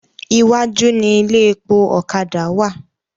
Iwájú ni ilé epo ọ̀kadà wà.